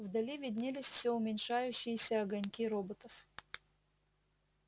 вдали виднелись всё уменьшающиеся огоньки роботов